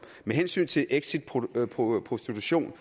med hensyn til exit prostitution